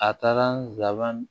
A taara laban